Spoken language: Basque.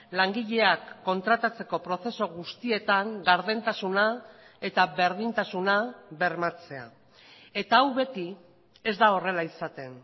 langileak kontratatzeko prozesu guztietan gardentasuna eta berdintasuna bermatzea eta hau beti ez da horrela izaten